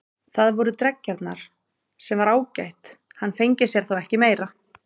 Það voru dreggjarnar, sem var ágætt, hann fengi sér þá ekki meira.